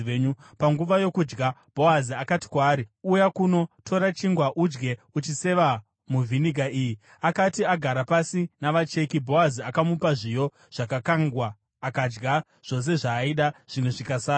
Panguva yokudya, Bhoazi akati kwaari, “Uya kuno. Tora chingwa udye uchiseva muvhiniga iyi.” Akati agara pasi navacheki, Bhoazi akamupa zviyo zvakakangwa. Akadya zvose zvaaida zvimwe zvikasara.